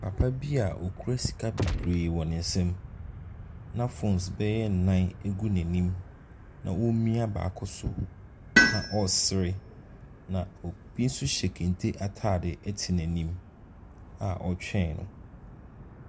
Papa bi a ɔkura sika bebree wɔ ne nsam na phones bɛyɛ nnan gu n'anim, na ɔremia baako so, na ɔresere, na obi nso hyɛ kente atade te n'anim a ɔretwɛn no.